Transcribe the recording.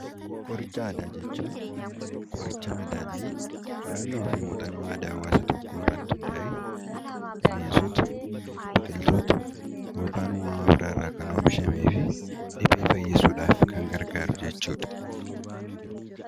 Qoricha aadaa jechuun qoricha madaallii qorannoofi muuxannoo aadaa hawaasa tokkoorratti hundaa'ee bineensota, Biqiltoota yookanimmoo uummama biraarraa kan oomishameefi dhibee fayyisuuf kan gargaaru jechuudha.